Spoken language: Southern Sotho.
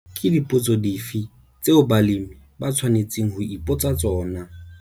Ke dipotso dife tseo balemi ba tshwanetseng ho ipotsa tsona?